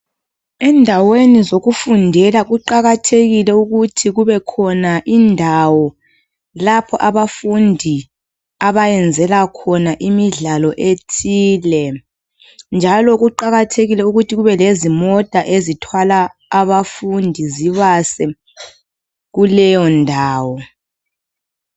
Endaweni zokufundela kuqakathekile ukuthi kube khona indawo lapha abafundi abayenzela khona imidlalo ethile njalo kuqakathekile ukuthi kube lezi mota ezithwala abafundi zibase kuleyo ndawo.